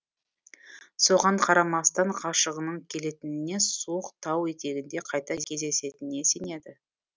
соған қарамастан ғашығының келетініне суық тау етегінде қайта кездесетініне сенеді